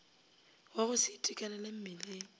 wa go se itekanele mmeleng